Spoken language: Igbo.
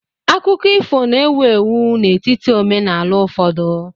Akụkọ ifo na-ewu ewu n'etiti omenaala ụfọdụ.